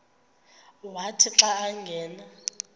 wathi xa angena